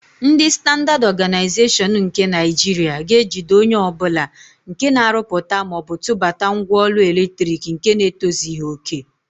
Ndị Standaad Ọganaịzeshọn nke Naịjiria ga-ejide onye ọbụla nke na-arụpụta maọbụ tụbata ngwaọrụ eletrik nke na-etozighi òkè.